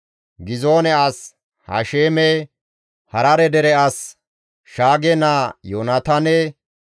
Gizoone as Hasheeme, Harare dere as Shaage naa Yoonataane,